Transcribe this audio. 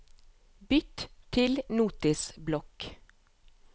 Bytt til Notisblokk